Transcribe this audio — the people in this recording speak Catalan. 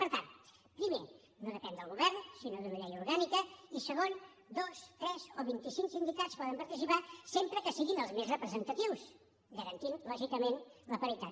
per tant primer no depèn del govern sinó d’una llei orgànica i segon dos tres o vint i cinc sindicats poden participar sempre que siguin els més representatius garantint lògicament la paritat